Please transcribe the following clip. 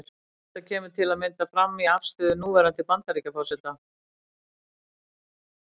Þetta kemur til að mynda fram í afstöðu núverandi Bandaríkjaforseta.